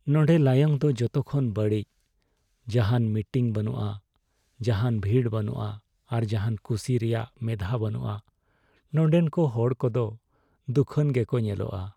ᱱᱚᱸᱰᱮ ᱞᱟᱭᱚᱝ ᱫᱚ ᱡᱚᱛᱚᱠᱷᱚᱱ ᱵᱟᱹᱲᱤᱡ, ᱡᱟᱦᱟᱱ ᱢᱤᱴᱤᱝ ᱵᱟᱹᱱᱩᱜᱼᱟ, ᱡᱟᱦᱟᱱ ᱵᱷᱤᱲ ᱵᱟᱹᱱᱩᱜᱼᱟ ᱟᱨ ᱡᱟᱦᱟᱱ ᱠᱩᱥᱤ ᱨᱮᱭᱟᱜ ᱢᱮᱫᱽᱦᱟ ᱵᱟᱹᱱᱩᱜᱼᱟ ᱾ ᱱᱚᱸᱰᱮᱱ ᱠᱚ ᱦᱚᱲ ᱠᱚᱫᱚ ᱫᱩᱠᱷᱟᱱ ᱜᱮᱠᱚ ᱧᱮᱞᱚᱜᱼᱟ ᱾